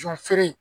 Jɔn feere